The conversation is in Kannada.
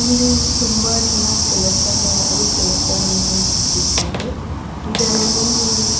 ಇಲ್ಲಿ ತುಂಬಾ ಜನ ಕೆಲಸಗಾರರು ಕೆಲಸ ನಿರ್ವಹಿಸುತ್ತಿದ್ದಾರೆ ಇದರಲ್ಲಿ --